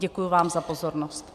Děkuji vám za pozornost.